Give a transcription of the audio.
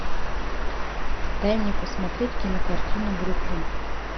дай мне посмотреть кинокартину бруклин